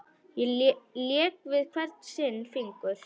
Lék við hvern sinn fingur.